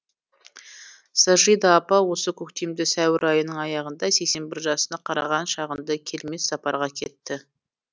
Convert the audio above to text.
сажида апа осы көктемде сәуір айының аяғында сексен бір жасына қараған шағында келмес сапарға кетті